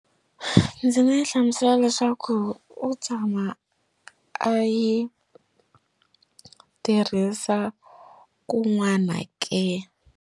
Ndzi nga yi hlamusela leswaku u tshama a yi tirhisa kun'wana ke.